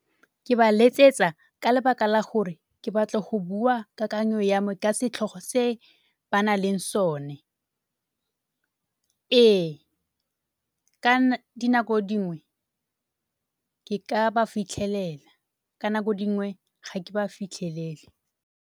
Ke ba letsetsa ka lebaka la gore ke batla go bua kakanyo ya me ka setlhogo se ba na leng sone. Ee, ka dinako dingwe ke ka ba fitlhelela, ka dinako dingwe ga ke ba fitlhelele.